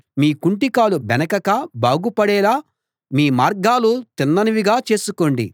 మీ కుంటికాలు బెణకక బాగుపడేలా మీ మార్గాలు తిన్ననివిగా చేసుకోండి